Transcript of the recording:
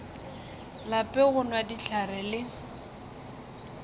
lape go nwa dihlare le